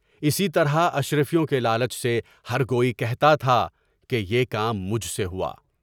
اسی طرح اشرفیوں کے لالچ سے ہرکوئی کہتا تھا کہ یہ کام مجھ سے ہوا۔